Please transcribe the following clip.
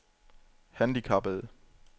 handicappede